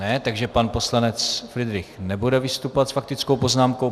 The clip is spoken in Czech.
Ne, takže pan poslanec Fridrich nebude vystupovat s faktickou poznámkou.